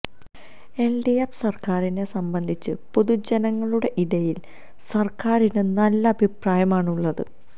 LDF സര്ക്കാരിനെ സംബന്ധിച്ച് പൊതുജനങ്ങളുടെ ഇടയില് സര്ക്കാരിന് നല്ല അഭിപ്രായമാണ് ഉള്ളത്